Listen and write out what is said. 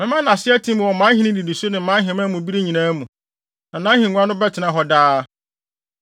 Mɛma nʼase atim wɔ mʼahenni nnidiso ne mʼaheman mu bere nyinaa mu, na nʼahengua no bɛtena hɔ daa.’ ”